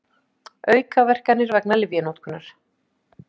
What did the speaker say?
Aukaverkanir vegna lyfjanotkunar.